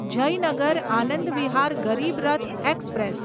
Jaynagar Anand Vihar Garib Rath express